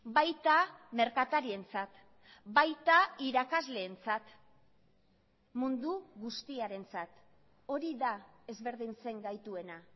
baita merkatarientzat baita irakasleentzat mundu guztiarentzat hori da ezberdintzen gaituena